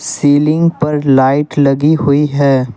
Ceiling पर light लगी हुई है।